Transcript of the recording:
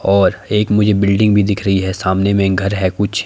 और एक मुझे बिल्डिंग भी दिख रही है सामने में घर है कुछ--